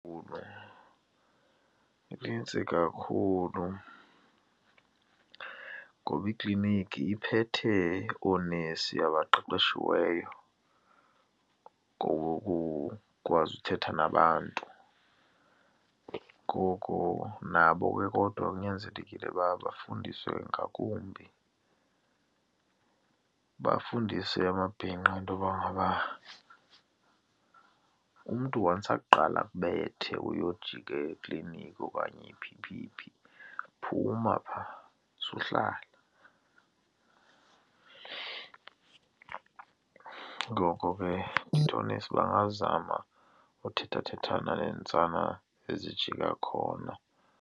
Inintsi kakhulu ngoba ikliniki iphethe oonesi abaqeqeshiweyo ngokukwazi ukuthetha nabantu. Ngoko nabo ke kodwa kunyanzelekile uba bafundiswe ngakumbi, bafundise amabhinqa intoba ngaba umntu once aqale akubethe uyojika ekliniki okanye phi phi phi, phuma phaa, suhlala. Ngoko ke into oonesi bangazama ukuthethathethana neentsana ezijika khona.